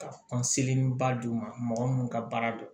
Ka ba d'u ma mɔgɔ munnu ka baara don